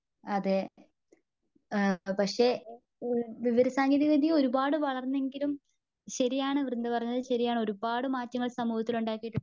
അതെ ആ പക്ഷേ വിവരസാങ്കേതികവിദത്യ ഒരുപാട് വളർന്നെങ്കിലും ശെരിയാണ് വൃന്ത പറഞ്ഞതു ശെരിയാണ്. ഒരുപാട് മാറ്റങ്ങൾ സമൂഹത്തിലുണ്ടാക്കിയിട്ടുണ്ട്.